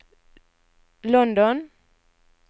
London